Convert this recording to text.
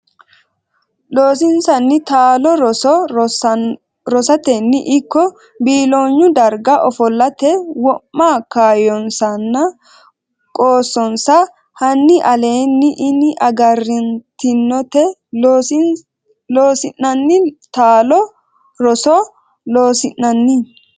Loossinanni taalo roso rosateno ikko biiloonyu darga ofollate wo ma kaayyonsanna qoossonsa hanni aleenni ini agarantinote Loossinanni taalo roso Loossinanni.